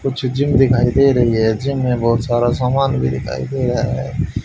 कुछ जिम दिखाई दे रही हैं जिम में बहुत सारा सामान भी दिखाई दे रहा है।